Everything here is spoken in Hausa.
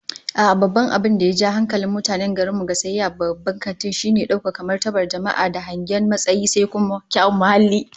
A'a, babban abin da ya ja hankalin mutanen garin mu ga sayayya a babban kanti, shine daukar martabar daga jama'a da hangen matsayi, sai kuma kyawun muhalli